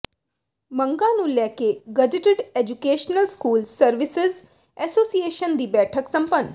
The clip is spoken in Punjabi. ਮੰਗਾਂ ਨੂੰ ਲੈਕੇ gazetted educational school services association ਦੀ ਬੈਠਕ ਸੰਪੰਨ